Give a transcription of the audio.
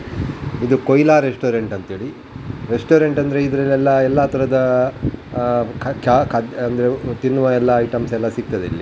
ಇದು ಕೊಯ್ಲಾ ರೆಸ್ಟೋರೆಂಟ್ ಅಂತ ಹೇಳಿ ರೆಸ್ಟೋರೆಂಟ್ ಅಂದ್ರೆ ಇದರಲ್ಲೆಲ್ಲ ಎಲ್ಲ ತರದ ಆಹ್ಹ್ ಆಹ್ಹ್ ತಿನ್ನುವ ಎಲ್ಲ ಐಟಮ್ಸ್ ಎಲ್ಲ ಸಿಗ್ತದೆ ಇಲ್ಲಿ --